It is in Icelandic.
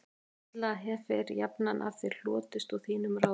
Illt hefir jafnan af þér hlotist og þínum ráðum